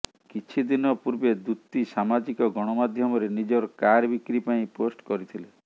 କିଛି ଦିନ ପୂର୍ବେ ଦୂତୀ ସାମାଜିକ ଗଣମାଧ୍ୟମରେ ନିଜର କାର ବିକ୍ରି ପାଇଁ ପୋଷ୍ଟ କରିଥିଲେ